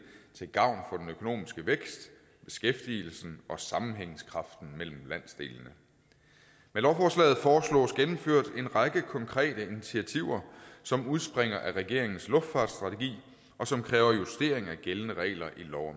til gavn økonomiske vækst beskæftigelsen og sammenhængskraften mellem landsdelene med lovforslaget foreslås gennemført en række konkrete initiativer som udspringer af regeringens luftfartsstrategi og som kræver justering af gældende regler i lov